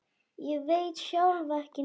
Ég veit sjálf ekki neitt.